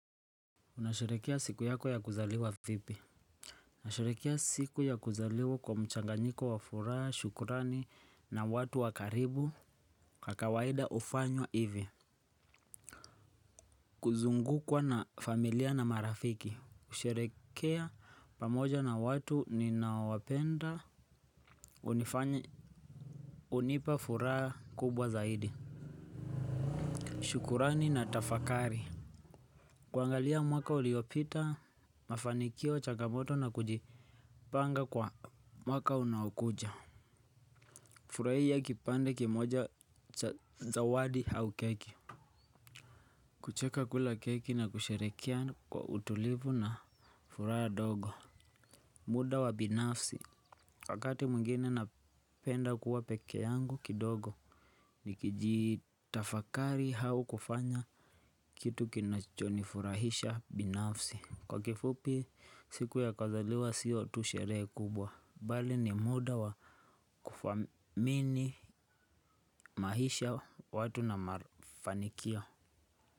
Unasherehekea siku yako ya kuzaliwa vipi nasherehekea siku ya kuzaliwa kwa mchanganyiko wa furaha, shukurani na watu wa karibu kwa kawaida hufanywa hivi. Kuzungukwa na familia na marafiki kusherehekea pamoja na watu ninaowapenda hunipa furaha kubwa zaidi. Shukurani na tafakari. Kuangalia mwaka uliopita, mafanikio, changamoto na kujipanga kwa mwaka unaokuja furahia kipande kimoja cha zawadi au keki. Kucheka kula keki na kusherehekea kwa utulivu na furaha ndogo muda wa binafsi wakati mwingine napenda kuwa peke yangu kidogo. Nikijitafakari au kufanya kitu kinachonifurahisha binafsi kwa kifupi siku ya kuzaliwa sio tu sherehe kubwa bali ni muda wa kufamini maisha watu na mafanikio.